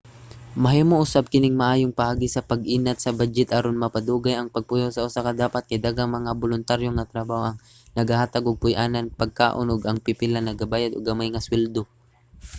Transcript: mahimo usab kining maayong paagi sa pag-inat sa badyet aron mapadugay ang pagpuyo sa usa ka dapat kay daghang mga boluntaryo nga trabaho ang nagahatag og puy-anan ug pagkaon ug ang pipila nagabayad og gamay nga suweldo